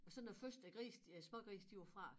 Og så når første gris øh smågris de var fra